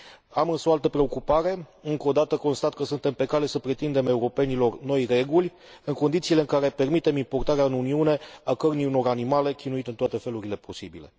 Am însă o altă preocupare încă o dată constat că suntem pe cale să pretindem europenilor noi reguli, în condițiile în care permitem importarea în Uniune a cărnii unor animale chinuite în toate felurile posibile.